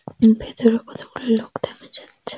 ওই ভেতরে কতগুলি লোক দেখা যাচ্ছে ।